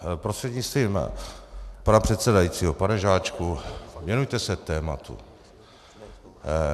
Prostřednictvím pana předsedajícího pane Žáčku, věnujte se tématu.